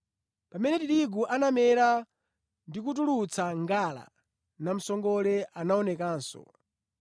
Pamene tirigu anamera ndi kutulutsa ngala, namsongole anaonekanso.